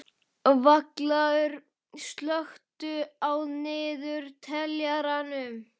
Vallaður, slökktu á niðurteljaranum.